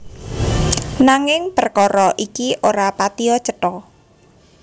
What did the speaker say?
Nanging prekara iki ora patiya cetha